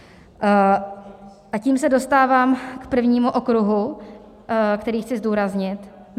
A tím se dostávám k prvnímu okruhu, který chci zdůraznit.